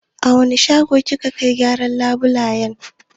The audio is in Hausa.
A wani shago kika kai gyaran labulayen.